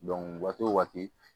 waati o waati